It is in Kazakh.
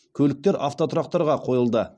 көліктер автотұрақтарға қойылды